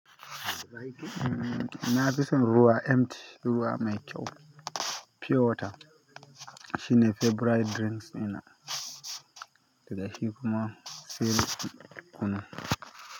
Na fi son ruwa, empty ruwa mai kyau, pure water. Shi ne favorite drinks ɗina, daga shi kuma sai ruwan kunu.